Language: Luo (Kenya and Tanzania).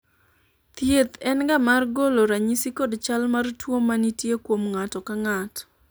thieth en ga mar golo ranyisi kod chal mar tuo manitie kuom ng'ato ka ng'ato